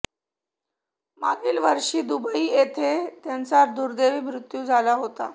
मागील वर्षी दुबई येथे त्यांचा दुर्देवी मृत्यू झाला होता